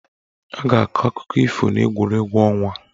A ga-akọ akụkọ ifo n'egwuregwu ọnwa.